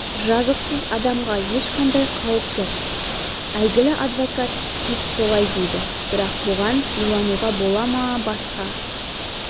жазықсыз адамға ешқандай қауіп жоқ әйгілі адвокат кит солай дейді бірақ бұған илануға бола ма басқа